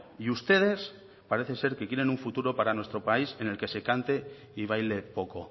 y ustedes parece ser que quieren un futuro para nuestro país en el que se cante y baile poco